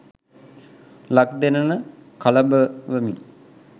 ලක් දෙරණ කළඹවමින්